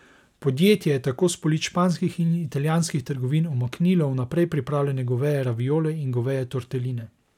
Podjetje je tako s polic španskih in italijanskih trgovin umaknilo vnaprej pripravljene goveje raviole in goveje torteline.